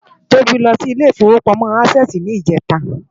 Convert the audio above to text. Tobi lò si Ilé Ifówópámò Ásèsì nijètá